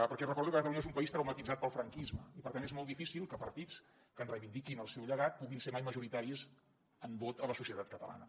perquè recordo que catalunya és un país traumatitzat pel franquisme i per tant és molt difícil que partits que en reivindiquin el seu llegat puguin ser mai majoritaris en vot a la societat catalana